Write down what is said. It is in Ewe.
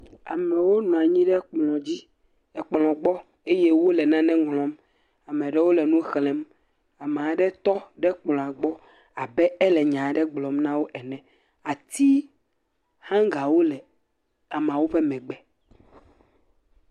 Amewo nɔ anyi ɖe ekplɔ gbɔ eye wole nane ŋlɔm. Ame aɖewo le nu xlem. Ame aɖe tɔ ɖe kplɔ gbɔ abe ele nya aɖe gblɔ nawo ene. Ati hɔngawo le amewo ƒe megbe.